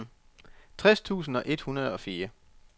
tres tusind et hundrede og fire